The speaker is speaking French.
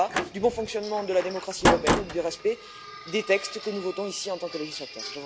Il y va du bon fonctionnement de la démocratie européenne et du respect des textes que nous votons ici en tant que législateurs.